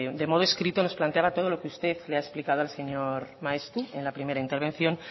de modo escrito nos planteaba todo lo que usted le ha explicado al señor maeztu en la primera intervención